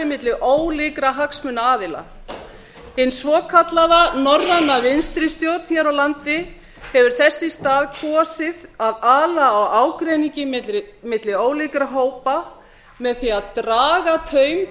milli ólíkra hagsmunaaðila hin svokallaða norræna vinstri stjórn hér á landi hefur þess í stað kosið að ala á ágreiningi milli ólíkra hópa með því að draga taum